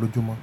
lójúmọ́